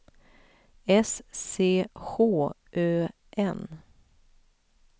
S C H Ö N